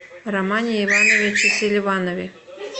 романе ивановиче селиванове